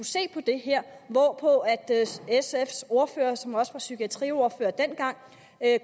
se på det hvorpå sfs ordfører som også var psykiatriordfører dengang